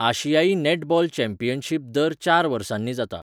आशियाई netball championship दर चार वर्सांनी जाता.